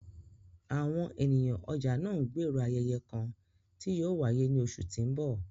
Awọn eniyan ọja naa ńgbero ayẹyẹ kan ti yóò waye ni oṣu ti n bọ